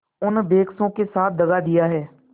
उन बेकसों के साथ दगा दिया है